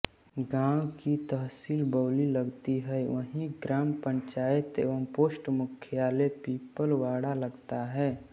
गांव की तहसील बौंली लगती है वही ग्राम पंचायत व पोस्ट मुख्यालय पीपलवाड़ा लगता है